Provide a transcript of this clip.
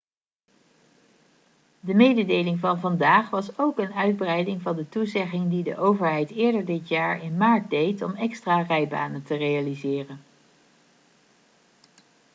de mededeling van vandaag was ook een uitbreiding van de toezegging die de overheid eerder dit jaar in maart deed om extra rijbanen te realiseren